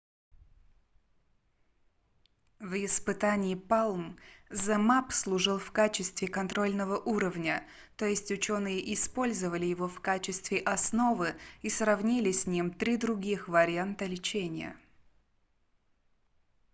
в испытании palm zmapp служил в качестве контрольного уровня то есть учёные использовали его в качестве основы и сравнили с ним три других варианта лечения